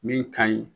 Min ka ɲi